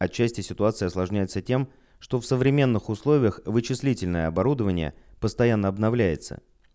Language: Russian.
отчасти ситуация осложняется тем что в современных условиях вычислительное оборудование постоянно обновляется